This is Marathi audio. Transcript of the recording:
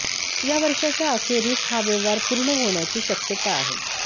या वर्षाच्या अखेरीस हा व्यवहार पूर्ण होण्याची शक्यता आहे